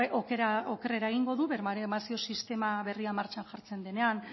okerrera egingo du baremazio sistema berria martxan jartzen denean